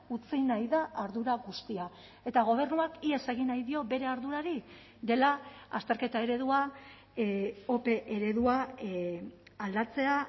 utzi nahi da ardura guztia eta gobernuak ihes egin nahi dio bere ardurari dela azterketa eredua ope eredua aldatzea